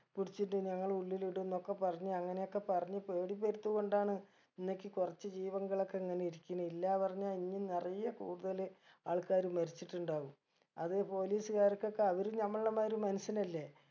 പുടിച്ചിട്ട് ഞങ്ങള ഉള്ളിലിടും ന്നൊക്കെ പറഞ്ഞ് അങ്ങനെയൊക്കെ പറഞ്ഞ് പേടി വരുത്തി കൊണ്ടാണ് ഇന്നേക്ക് കുറച്ച് ജീവങ്ങളൊക്കെ ഇങ്ങനെ ഇരിക്കണേ ഇല്ല പറഞ്ഞ ഇന്ന് നിറയെ കൂടുതല് ആൾക്കാര് മരിച്ചിട്ടുണ്ടാവും അത് police കാർക്കൊക്കെ അവരും നമ്മളെമായിര് മനുഷ്യനല്ലെ